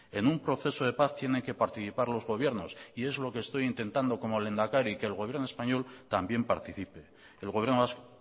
en un proceso de paz tienen que participar los gobiernos y es lo que estoy intentando como lehendakari que el gobierno español también participe el gobierno vasco